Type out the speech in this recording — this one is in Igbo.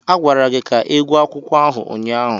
A gwara gị ka ịgwọ akwụkwọ ahụ ụnyaahụ.